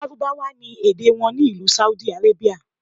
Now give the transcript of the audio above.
Lárúbáwá ni èdè wọn ní ìlú Saudi Arabia.